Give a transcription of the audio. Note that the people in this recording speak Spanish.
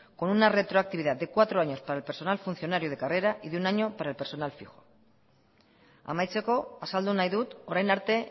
con una retroactividad de cuatro años para el personal funcionario de carrera y de un año para el personal fijo amaitzeko azaldu nahi dut orain arte